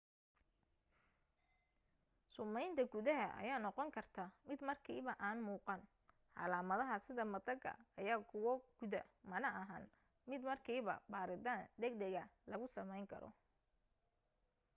sumeynta gudaha ayaa noqon karta mid markiiba aan muuqan calaamadaha sida mataga ayaa kuwo guuda mana ahan mid markiiba baaritaan dag daga lagu sameyn karo